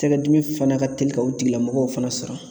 Tɛkɛ dimi fana ka teli ka o tigilamɔgɔw fana sɔrɔ.